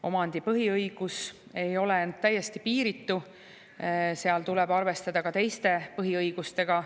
Omandipõhiõigus ei ole täiesti piiritu, seal tuleb arvestada ka teiste põhiõigustega.